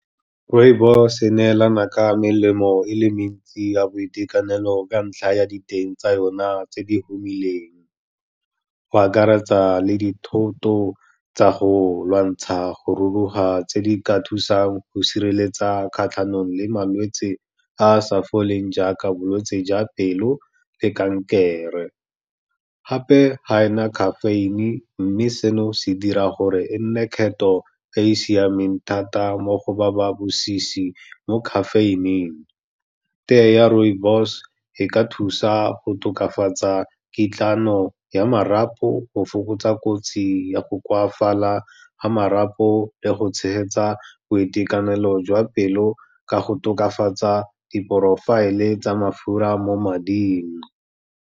Rooibos-e e neelana ka melemo e le mentsi ya boitekanelo ka ntlha ya diteng tsa yona tse di humileng, go akaretsa le dithoto tsa go lwantsha go ruruga, tse di ka thusang go sireletsa kgatlhanong le malwetse a sa foleng jaaka bolwetse jwa pelo le kankere. Gape ga ena caffeine, mme seno se dira gore e nne kgetho e e siameng thata mo go ba ba bosisi mo caffeine-ing. Teye ya rooibos e ka thusa go tokafatsa kitlano ya marapo, go fokotsa kotsi ya go koafala ga marapo le go tshegetsa boitekanelo jwa pelo ka go tokafatsa di-profile-e tsa mafura mo mading.